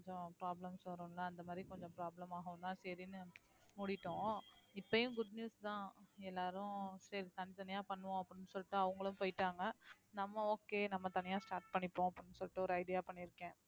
கொஞ்சம் problems வரும் அந்த மாறிக் கொஞ்சம் problem அகவும்தான் சரின்னு மூடிட்டோம் இப்பயும் good news தான் எல்லாரும் சரி தனி தனியா பண்ணுவோம் அப்படின்னு சொல்லிட்டு அவங்களும் போயிட்டாங்க நம்ம okay நம்ம தனியா start பண்ணிப்போம் அப்படின்னு சொல்லிட்டு ஒரு idea பண்ணி இருக்கேன்